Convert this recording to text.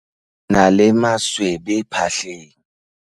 Ke na le maswebe phatleng.